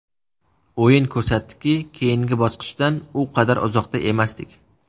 O‘yin ko‘rsatdiki, keyingi bosqichdan u qadar uzoqda emasdik.